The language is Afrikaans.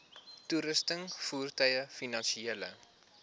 toerusting voertuie finansiële